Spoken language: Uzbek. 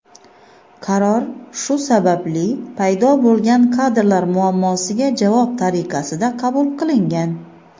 Qaror shu sababli paydo bo‘lgan kadrlar muammosiga javob tariqasida qabul qilingan.